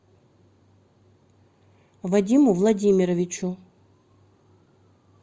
вадиму владимировичу